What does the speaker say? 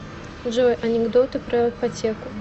джой анекдоты про ипотеку